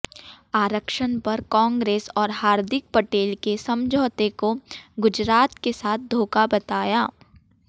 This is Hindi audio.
आरक्षण पर कांग्रेस और हार्दिक पटेल के समझौते को गुजरात के साथ धोखा बताया